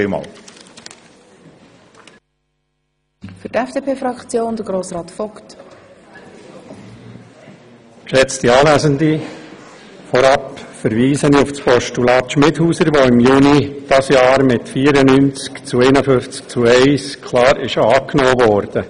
Vorab verweise ich auf das Postulat Schmidhauser, welches im Juni dieses Jahres mit 94 Ja- gegen 51 Neinstimmen bei 1 Enthaltung klar angenommen wurde.